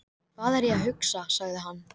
Hvað er ég að hugsa? sagði hann.